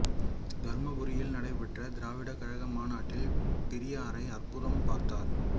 தர்மபுரியில் நடைபெற்ற திராவிடர் கழக மாநாட்டில் பெரியாரை அற்புதம் பார்த்தார்